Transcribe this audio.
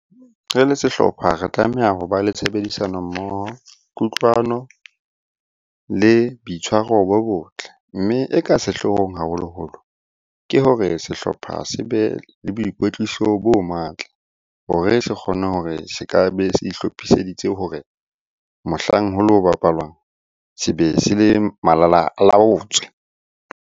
Re le sehlopha re tlameha ho ba le tshebedisano mmoho, kutlwano le boitshwaro bo botle. Mme e ka sehloohong haholoholo, ke hore sehlopha se be le boikwetliso bo matla hore se kgone hore se ka be se itlhophiseditse hore mohlang ho lo bapalwang se be se le malalaalaotswe.